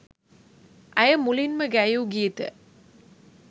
ඇය මුලින්ම ගැයූ ගීතය